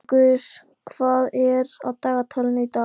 Eyríkur, hvað er á dagatalinu í dag?